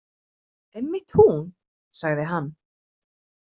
Einmitt hún, sagði hann.